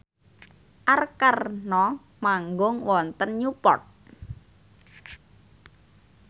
Arkarna manggung wonten Newport